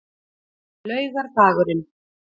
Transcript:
laugardagurinn